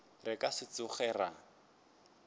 re ka se tsoge ra